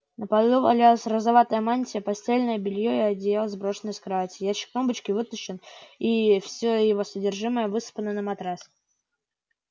на полу валялась розоватая мантия постельное бельё и одеяла сброшены с кровати ящик тумбочки вытащен и всё его содержимое высыпано на матрас